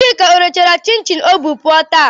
Chika ọ rechara chin chin ọ bu pụọ taa?